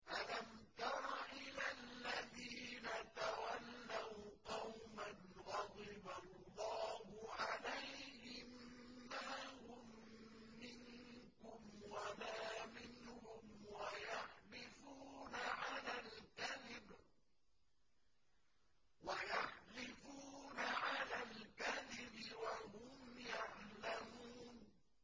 ۞ أَلَمْ تَرَ إِلَى الَّذِينَ تَوَلَّوْا قَوْمًا غَضِبَ اللَّهُ عَلَيْهِم مَّا هُم مِّنكُمْ وَلَا مِنْهُمْ وَيَحْلِفُونَ عَلَى الْكَذِبِ وَهُمْ يَعْلَمُونَ